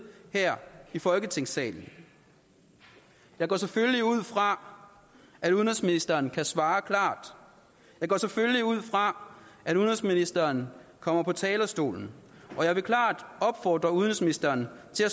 her i folketingssalen jeg går selvfølgelig ud fra at udenrigsministeren kan svare klart jeg går selvfølgelig ud fra at udenrigsministeren kommer på talerstolen og jeg vil klart opfordre udenrigsministeren til at